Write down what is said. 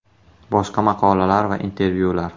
Boshqa maqolalar va intervyular: !